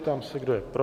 Ptám se, kdo je pro?